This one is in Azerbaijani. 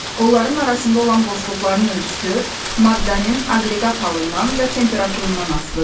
Onların arasında olan boşluqların ölçüsü maddənin aqreqat halından və temperaturundan asılıdır.